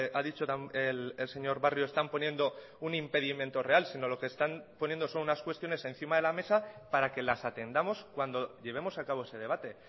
ha dicho el señor barrio están poniendo un impedimento real sino lo que están poniendo son unas cuestiones encima de la mesa para que las atendamos cuando llevemos a cabo ese debate